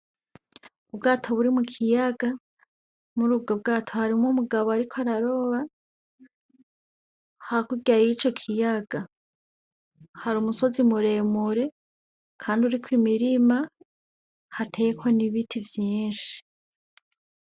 Ubwato buri mukiyaga, murubwo bwato hariho umugabo ariko araroba, hakurya yico kuyaga harumusozi muremure kandi uriko imirima hateweko n'ibiti vyinshi.